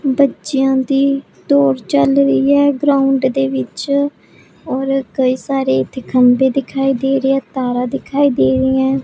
ਬੱਚਿਆਂ ਦੀ ਦੌੜ ਚਲ ਰਹੀ ਅ ਗਰਾਊਂਡ ਦੇ ਵਿੱਚ ਔਰ ਕਈ ਸਾਰੇ ਇਥੇ ਖੰਬੇ ਦਿਖਾਈ ਦੇ ਰਿਹਾ ਤਾਰਾ ਦਿਖਾਈ ਦੇ ਰਹੀ ਹੈ।